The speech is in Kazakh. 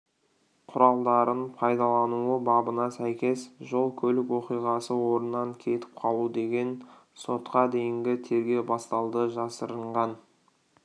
құралдарын пайдалануы бабына сәйкес жол-көлік оқиғасы орнынан кетіп қалу деген сотқа дейінгі тергеу басталды жасырынған